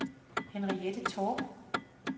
Henriette Torp